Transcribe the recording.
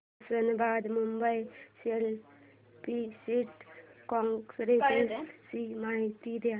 Osmanabad Mumbai CST express ची माहिती दे